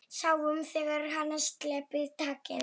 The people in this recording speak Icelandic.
Sáum þegar hann sleppti takinu.